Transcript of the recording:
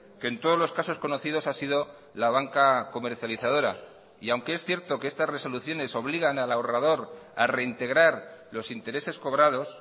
que en todos los casos conocidos ha sido la banca comercializadora y aunque es cierto que estas resoluciones obligan al ahorrador a reintegrar los intereses cobrados